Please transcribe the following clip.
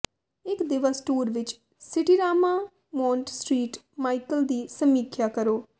ਇਕ ਦਿਵਸ ਟੂਰ ਵਿੱਚ ਸਿਟੀਰਾਮਾ ਮੌਂਟ ਸ੍ਟ੍ਰੀਟ ਮਾਈਕਲ ਦੀ ਸਮੀਖਿਆ ਕਰੋ